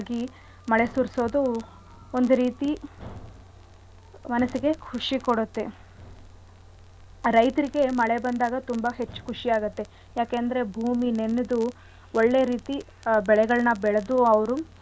ಸುರ್ಸೋದು ಒಂದು ರೀತಿ ಮನಸ್ಸಿಗೆ ಖುಷಿ ಕೊಡತ್ತೆ. ರೈತ್ರಿಗೆ ಮಳೆ ಬಂದಾಗ ತುಂಬಾ ಹೆಚ್ಚು ಖುಷಿ ಆಗತ್ತೆ ಯಾಕೆಂದ್ರೆ ಭೂಮಿ ನೆನೆದು ಒಳ್ಳೆ ರೀತಿ ಆ ಬೆಳೆಗಳ್ನ ಬೆಳೆದು ಅವ್ರು ಅವ್ರರವರ.